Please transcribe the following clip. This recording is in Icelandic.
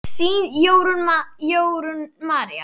Þín, Jórunn María.